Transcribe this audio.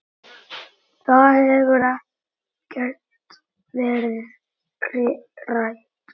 Það hefur ekkert verið rætt.